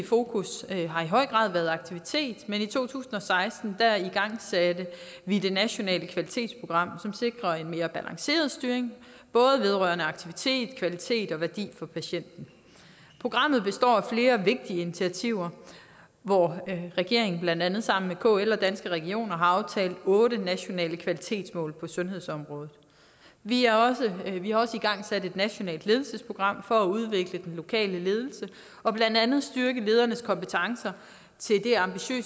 fokus har i høj grad været på aktivitet men i to tusind og seksten igangsatte vi det nationale kvalitetsprogram som sikrer en mere balanceret styring både vedrørende aktivitet kvalitet og værdi for patienten programmet består af flere vigtige initiativer hvor regeringen blandt andet sammen med kl og danske regioner har aftalt otte nationale kvalitetsmål på sundhedsområdet vi har også igangsat et nationalt ledelsesprogram for at udvikle den lokale ledelse og blandt andet styrke ledernes kompetencer